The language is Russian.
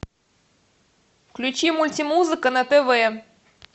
включи мультимузыка на тв